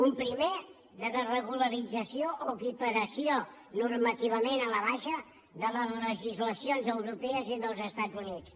un primer de desregularització o equiparació normativament a la baixa de les legislacions europees i dels estats units